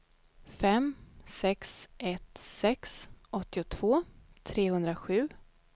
fem sex ett sex åttiotvå trehundrasju